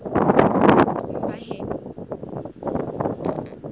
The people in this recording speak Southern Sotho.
baheno